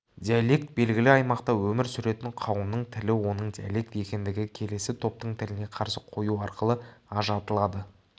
диалект белгілі аймақта өмір сүретін қауымның тілі оның диалект екендігі келесі топтың тіліне қарсы қою арқылы ажыратылады